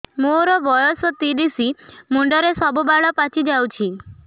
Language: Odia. ମୋର ବୟସ ତିରିଶ ମୁଣ୍ଡରେ ସବୁ ବାଳ ପାଚିଯାଇଛି